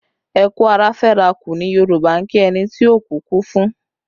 Ẹ kú ará feraku ni Yoruba ń kí ẹni tí òkú kú fún